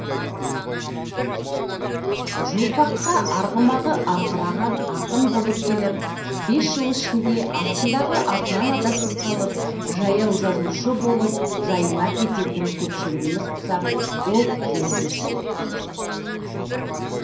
журфакқа арғымағы арқыраған ақынболып келіп бес жыл ішінде астындағы атынан адасып қалып жаяу жазушы болып жайына кететін көпшілігіміз құсап ол жөнсіз желіккен жоқ